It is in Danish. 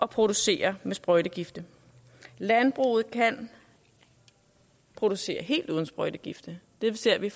producere med sprøjtegifte landbruget kan producere helt uden sprøjtegifte det ser vi